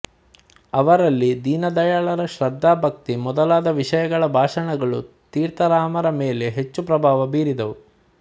ಅವರಲ್ಲಿ ದೀನದಯಾಳರ ಶ್ರದ್ಧಾಭಕ್ತಿ ಮೊದಲಾದ ವಿಷಯಗಳ ಭಾಷಣಗಳು ತೀರ್ಥರಾಮರ ಮೇಲೆ ಹೆಚ್ಚು ಪ್ರಭಾವ ಬೀರಿದವು